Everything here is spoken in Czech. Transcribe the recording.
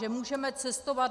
Že můžeme cestovat?